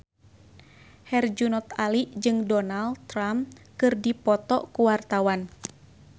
Herjunot Ali jeung Donald Trump keur dipoto ku wartawan